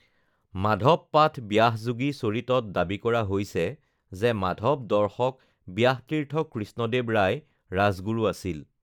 মাধৱ পাঠ ব্যাসযোগী চৰিতত দাবী কৰা হৈছে যে মাধৱ দৰ্শক ব্যাসতীৰ্থ কৃষ্ণদেৱ ৰায় ৰাজগুৰু আছিল